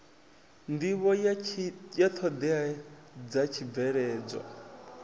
nḓivho ya ṱhoḓea dza tshibveledzwa